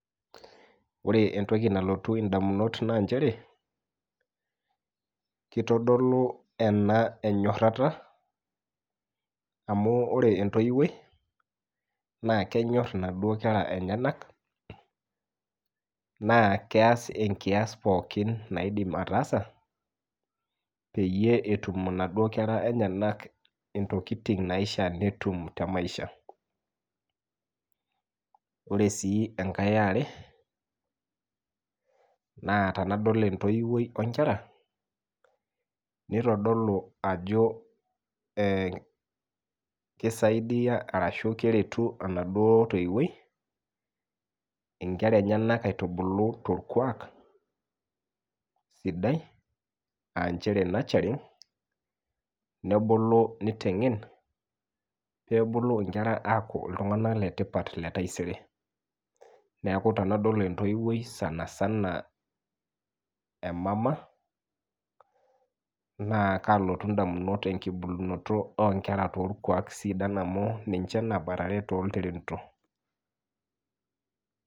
Ore entoki nalotu indamunot naa nchere kitodolu ena enyorata amu ore entoiwuoi na kenyor inaduo kera enyenak naa keas enkias pookin naidim ataas peyie etum inaduo kera enyenak ntokitin naishiaa netum temaisha . Ore sii enkae eare naa tenadol entoiwuoi onkera , nitodolu ajo ee kisaidia ashu keretu enaduo toiwuoi inkera enyenak aitubulu torkwak sidai aanchere nurturing nebulu nitengen pebulu inkera aaku iltunganak letipat letaisere . Neeku tenadol entoiwuoi sanasana emama naa kalotu ndamunot embulunoto onkera torkwak sidan amu ninche nabarare tolntirenito.